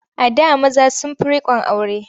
A da maza sun fi riƙon aure.